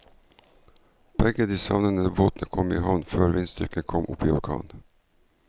Begge de savnede båtene kom i havn før vindstyrken kom opp i orkan.